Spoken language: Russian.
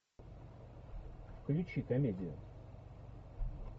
включи комедию